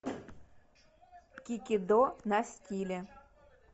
кикидо на стиле